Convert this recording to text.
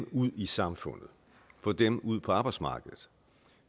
ud i samfundet og få dem ud på arbejdsmarkedet